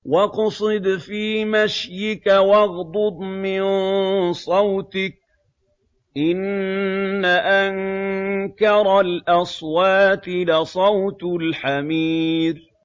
وَاقْصِدْ فِي مَشْيِكَ وَاغْضُضْ مِن صَوْتِكَ ۚ إِنَّ أَنكَرَ الْأَصْوَاتِ لَصَوْتُ الْحَمِيرِ